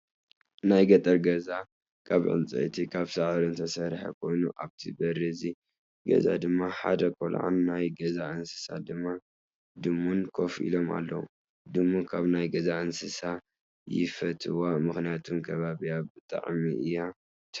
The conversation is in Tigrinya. ናይ ገጠር ገዛ ካብ ዕንፀይትን ካብ ሳዕሪን ዝተሰርሐ ኮይኑኣብ ቢሪ እቲ ገዛ ድማ ሓደ ቆልዓን ናይ ገዛ እንስሳ ድማ ድሙን ኮፍ ኢሎም ኣለው። ድሙ ካብ ናይ ገዛ እንስሳ የፈትዋ ምክንያቱ ከባቢካ ብጣዕዕሚ እያ ትሕሉ።